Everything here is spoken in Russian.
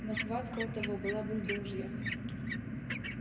но хватка у того была бульдожья